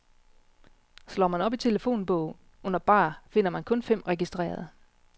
Slår man op i telefonbogen under barer, finder man kun fem registrerede.